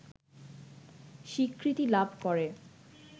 স্বীকৃতি লাভ করে